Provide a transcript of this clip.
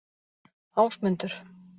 Ásmundur